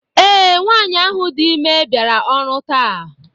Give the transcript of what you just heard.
Ee, nwanyị ahụ dị ime bịara ọrụ taa.